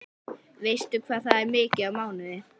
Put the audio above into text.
Veistu hvað það er mikið á mánuði?